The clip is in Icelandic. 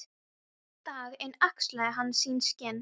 Dag einn axlaði hann sín skinn.